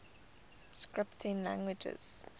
scripting languages